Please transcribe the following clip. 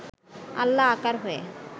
আল্লাহ আকার হয়ে